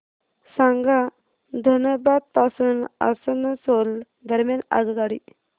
सांगा धनबाद पासून आसनसोल दरम्यान आगगाडी